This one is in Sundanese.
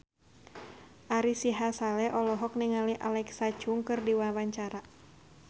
Ari Sihasale olohok ningali Alexa Chung keur diwawancara